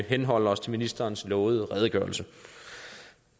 henholde os til ministerens lovede redegørelse